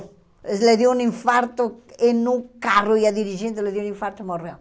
Eles lhe deu um infarto em um carro, ia dirigindo, lhe deu um infarto e morreu.